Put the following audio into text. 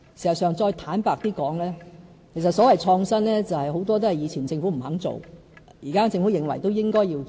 事實上，再坦白一點的說，所謂創新，很多都是歷屆政府不肯做，但現屆政府認為是應該做的。